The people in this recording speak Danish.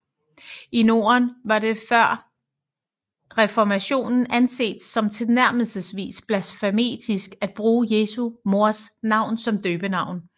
I Norden var det før reformationen anset som tilnærmelsesvis blasfemisk at bruge Jesu mors navn som døbenavn